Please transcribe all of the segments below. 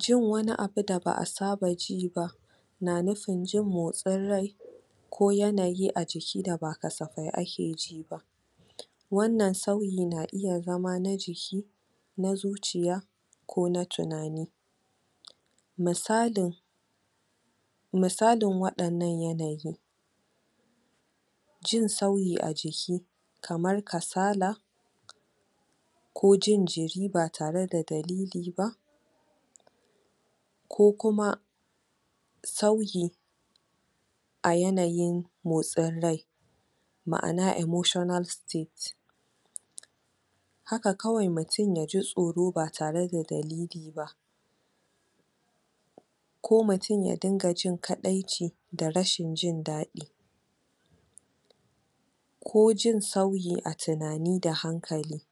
Jin wani abu da ba a saba ji ba na nufin jin motsin rai ko yanayi a jiki da ba kasafai ake ji ba wannan sauyi na iya zama na jiki na zuciya ko na tunani misalin misalin waɗannan yanayi jin sauyi a jiki kamar kasala ko jin jiri ba tare da dalili ba ko kuma sauyi a yanayin motsin rai ma'ana emossional state haka kawai mutum ya ji tsoro ba tare da dalili ba ko mutum ya dinga jin kaɗaici da rashin jin daɗi ko jin sauyi a tunani da hankali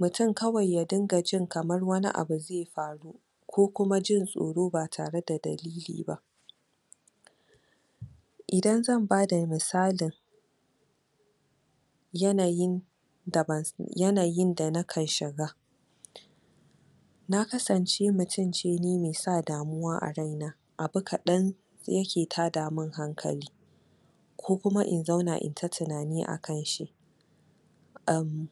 mutum kawai ya dinga jin kamar wani abu zai faru ko kuma jin tsoro ba tare da dalili ba idan zan bada misalin yanayin yanayin da na ka shiga na kasance mutum ce ni mai sa damuwa a raina abu kadan yake tada mun hankali ko kuma in zauna in yi ta tunani a kan shi am...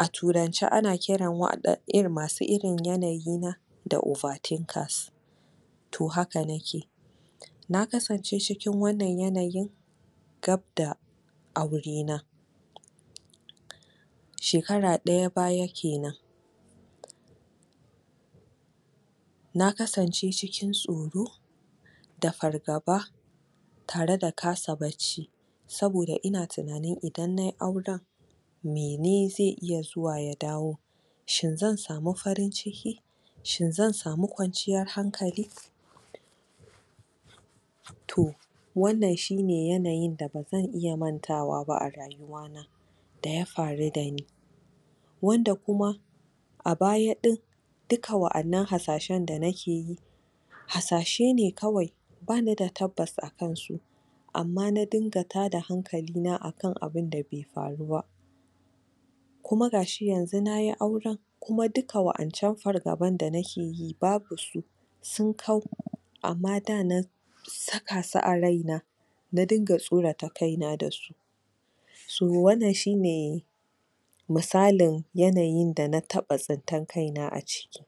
a turance ana ƙiran wadan... masu irin yanayina da over-thinkers to haka nake na kasance cikin wannan yanayin gab da aurena shekara ɗaya baya kenan na kasance cikin tsoro da fargaba tare da kasa barci saboda ina tunanin idan na yi auren mene zai iya zuwa ya dawo shin zan samu farin-ciki shin zan samu kwanciyar hankali to wannan shi ne yanayin da ba zan iya mantawa a rayuwa da ya faru da ni wanda kuma a baya ɗin duk waɗannan hasashen da nake yi hasashe ne kawai ba ni da tabbatas akansu amma na dinga tada hanklaina akan abinda bai faru ba kuma ga shi yanzu na yi auren kuma duka waƴancan fargaban da nake yi babu su sun kau amma da na saka su a raina na dinga tsorata kaina da su so wannan shi ne misalin yanayin dana taɓa tsintar kaina a ciki.